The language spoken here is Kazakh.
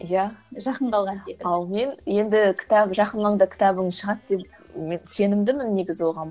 иә жақын қалған секілді ал мен енді кітап жақын маңда кітабың шығады деп мен сенімдімін негізі оған